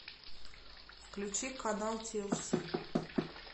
включи канал тлс